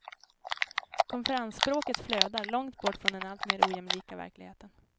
Konferensspråket flödar, långt bort från den alltmer ojämlika verkligheten.